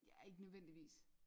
Ja ikke nødvendigvis